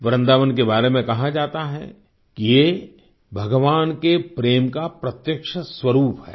वृन्दावन के बारे में कहा जाता है कि ये भगवान के प्रेम का प्रत्यक्ष स्वरूप है